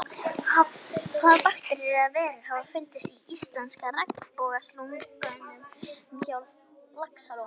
Hvaða bakteríur eða veirur hafa fundist í íslenska regnbogasilungnum á Laxalóni?